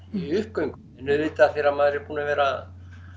í uppgöngu en auðvitað þegar maður er búinn að vera